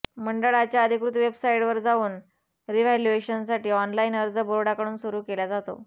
मंडळाच्या अधिकृत वेबसाइटवर जाऊन रिव्हॅल्युएशनसाठी ऑनलाईन अर्ज बोर्डाकडून सुरु केला जातो